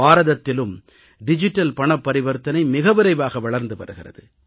பாரதத்திலும் digital பணப்பரிவர்த்தனை மிக விரைவாக வளர்ந்து வருகிறது